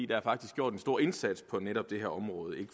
der er faktisk gjort en stor indsats på netop det her område